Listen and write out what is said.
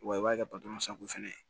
Wa i b'a kɛ fɛnɛ ye